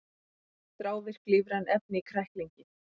Þrávirk lífræn efni í kræklingi